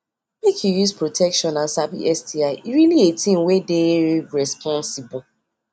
um i no sabi that much about how they take the do sti test till i come ask my doctor